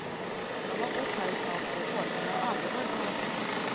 De har bott här i snart två år och det har aldrig varit några problem.